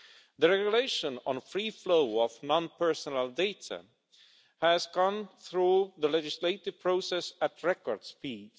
The Regulation on the Free Flow of non-personal Data has gone through the legislative process at record speed.